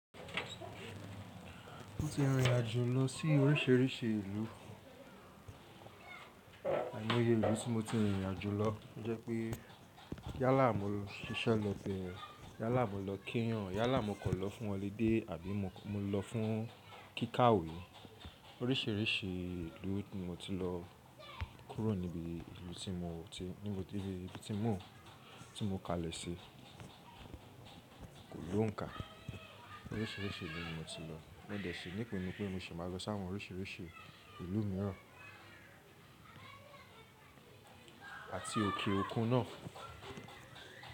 Mo ti rìn rìn àjò lọ sí oríṣiríṣi ìlú, ài moye ìlú tí mo ti rìn ìrìn àjò lọ to jẹ́ pé yálà mó lọ ṣíṣẹ́ lọ bẹ́ẹ̀, yálà mó lọ kíyan, yálà mó kọ̀ lọ fún holiday àbí mo lọ fún kíkàwé. Oríṣiríṣi ìlú ni mo ti lọ kúrò níbi ìlú tí mo ti, níbi tí mo ti mọ̀, tí mo kalẹ̀ sí kò lóǹkà. Oríṣiríṣi ìlú ni mo ti lọ, mode ṣé nípinu pé mo ṣì máa lọ sáwọn oríṣiríṣi ìlú míràn àti òkè òkun náà.